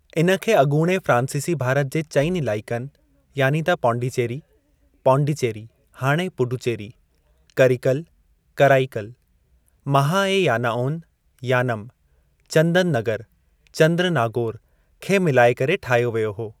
इन खे अॻोणे फ्रांसीसी भारत जे चइनि इलाइकनि, यानी त पांडिचेरी (पांडिचेरी; हाणे पुडुचेरी), करिकल (कराइकल), महा ऐं यानाओन (यानम), चंदननगर (चंद्रनागोर) खे मिलाए करे ठाहियो वियो हो।